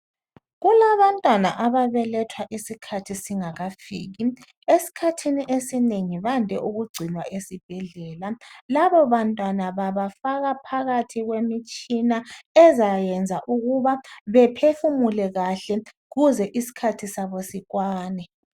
Kulabantwana ababelethwa isikhathi singakafiki esikhathini esinengi bande ukugcinwa esibhedlela, laba bantwana babafaka phakathi kwemitshina ezayenza ukuba bephefumuke kuhle kuze iskhathi sabo sikwane.